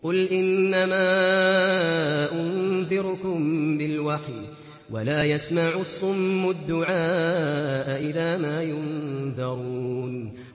قُلْ إِنَّمَا أُنذِرُكُم بِالْوَحْيِ ۚ وَلَا يَسْمَعُ الصُّمُّ الدُّعَاءَ إِذَا مَا يُنذَرُونَ